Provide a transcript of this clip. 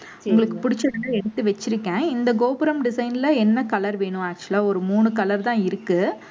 உங்களுக்கு பிடிச்சிருந்தா எடுத்து வச்சிருக்கேன். இந்த கோபுரம் design ல என்ன color வேணும் actual ஆ ஒரு மூணு color தான் இருக்கு.